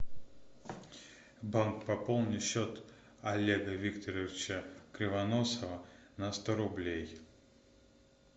банк пополни счет олега викторовича кривоносова на сто рублей